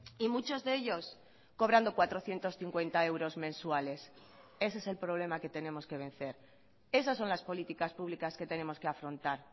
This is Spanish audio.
y muchos de ellos cobrando cuatrocientos cincuenta euros mensuales ese es el problema que tenemos que vencer esas son las políticas públicas que tenemos que afrontar